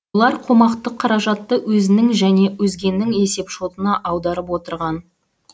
олар қомақты қаражатты өзінің және өзгенің есепшотына аударып отырған